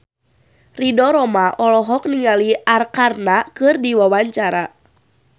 Ridho Roma olohok ningali Arkarna keur diwawancara